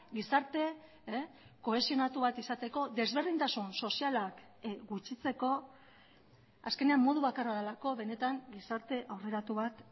gizarte kohesionatu bat izateko desberdintasun sozialak gutxitzeko azkenean modu bakarra delako benetan gizarte aurreratu bat